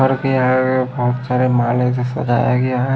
बहुत सारे माले से सजाया गया है।